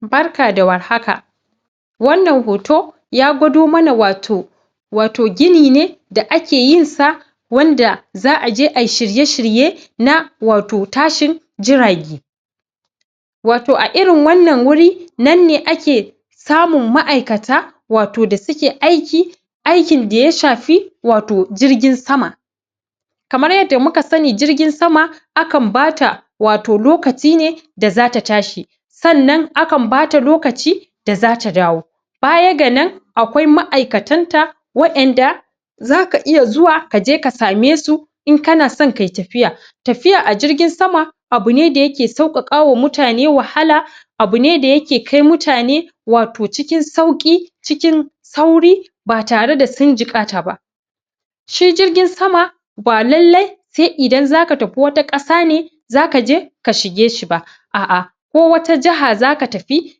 Barka da warhaka wannan hoto ya gwado mana wato wato gini ne gini ne da ake yinsa wanda za a je ay shirye-shirye na wato tashin jirage wato a irin wannan wuri nan ne ake samun ma'yaikata wato da suke ayki aykin da ya shafi wato jirgin sama kamar yadda muka sani jirgin sama akan bata wato lokaci ne da za ta tashi sannan akan bata lokaci da za ta dawo baya ganan akwai ma'aykatanta wa'ayan da za ka iya zuwa ka je ka samai su in kana son kai tafiya tafiya a jirgin sama abu ne da yake saukakawa mutane wahala abu ne da yake kai muta ne wato cikin sauki, cikin cikin sauri ba tare da sun jigata ba shi jirgin sama ba lalle sai idan za ka tafi wata kasa ne za ka je ka shige shi ba aa'a ko wata jaha za ka tafi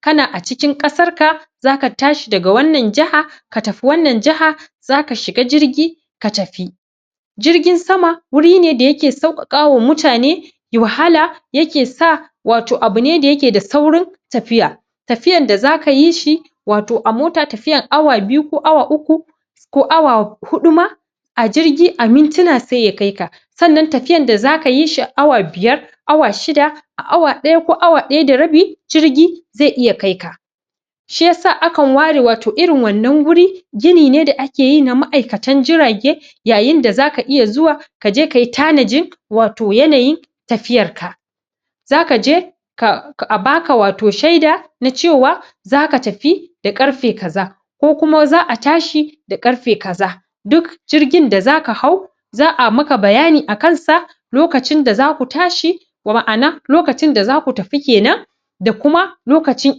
kana a cikin kasarka za ka tashi daga wannan jaha ka tafi wannan jaha za ka shiga jirgi ka tafi jirgin sama wuri ne da yake saukakawa muta ne wahala yake sa wato abu ne da yake da saurin tafiya tafiyan da za ka yi shi wato a mota tafiyar awa biyu ko awa uku ko awa hudu ma a jirgi a mintina sai ya kaika sannan tafiyar da za ka yi shi aw biyar awa shida a awa daya ko awa daya da rabi jirgi zai iya kaika shi yasa akan ware wato irin wannan wuri gini ne da akeyi na ma'aykatan jirage yayin da za ka iya zuwa ka je ka yi tanajin wato yanayin tafiyarka za ka je kaa abaka wato sheda na cewa za ka tafi da karfe kaza kokuma za a tashi da karfe kaza duk jirgin da za ka hau za a maka bayani a kansa lokacin da za ku tashi ma ana lokacin da za ku tafi kenan da kuma lokacin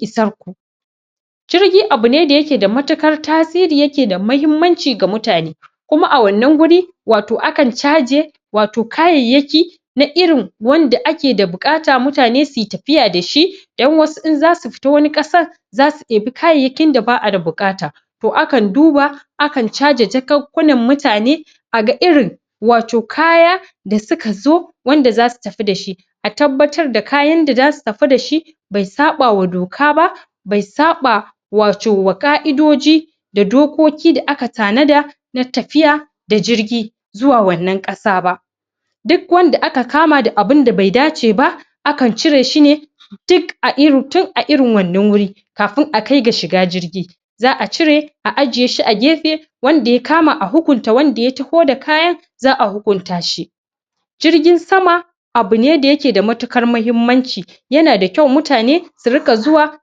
isan ku jirgi abu ne da yake da matukar tasiri, yake da matukar mahimmanci ga muta ne kuma a wannan guri wato akan caje wato kayayyaki na irin wanda ake da bukata muta ne suyi tafiya da shi dan wasu in za suyi tafiya wani kasar za su iba kayayyakin da ba'a da bukata to akan duba akan caje jakunkunan muta ne aga irin wato kaya da suka zo wato wanda za su tafi da shi a tabbatar da kayan da za su tafi da shi bai sabawa doka ba bai sabawa wato ka'idoji da dokoki da aka tanada na tafiya da jirgi zuwa wannan kasa ba duk wanda aka kama da abin da bai dace ba akan cire shi ne tun a irin wannan wuri kafin akai ga shiga jirgi za a cire a ajjiye shi a gefe wanda ya kama a hukunta wanda ya taho da kkayan za a hukunta shi jirgin sama abu ne da yake da mahmmanci yana da kyau muta ne su rika zuwa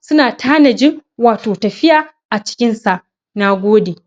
suna tanajin wato tafiya a cikin sa na gode